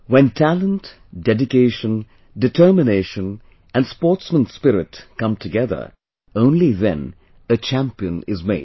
when Talent, Dedication, Determination and Sportsman Spirit come together only then a champion is made